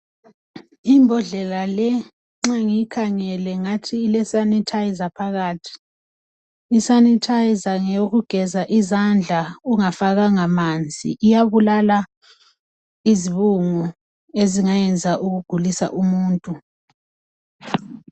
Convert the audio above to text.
Imbodlela le nxa ngangiyikhangele ngathi ilesanitizer phakathi. Isanitizer ngeyokugeza izandla ungafakanga amanzi, iyabulala izibungu ezingayenza ukugulisa umuntu.